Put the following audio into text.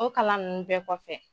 O kalan nunnu bɛɛ kɔfɛ.